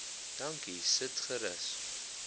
dankie sit gerus